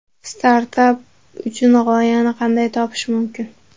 Startap uchun g‘oyani qanday topish mumkin?